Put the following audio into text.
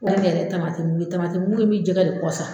An yɛrɛ tamati mugu tamati mugu in bɛ jɛgɛ de kɔsa.